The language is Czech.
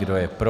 Kdo je pro?